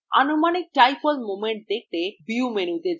আনুমানিক dipole moment দেখতে view মেনুতে যান